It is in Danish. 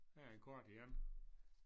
Her er en kort igen